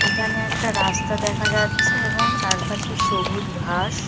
এখানে একটা রাস্তা দেখা যাচ্ছে এবং চারপাশে সবুজ ঘাস।